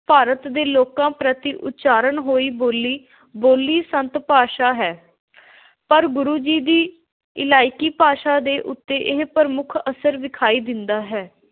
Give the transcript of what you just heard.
ਭਾਰਤ ਦੇ ਲੋਕਾਂ ਪ੍ਰਤੀ ਉਚਾਰਨ ਹੋਈ ਬੋਲੀ, ਬੋਲੀ ਸੰਤ – ਭਾਸ਼ਾ ਹੈ, ਪਰ ਗੁਰੂ ਜੀ ਦੀ ਇਲਾਕਾਈ ਭਾਸ਼ਾ ਦੇ ਉੱਤੇ ਇਹ ਪ੍ਰਮੁੱਖ ਅਸਰ ਵਿਖਾਈ ਦਿੰਦਾ ਹੈ।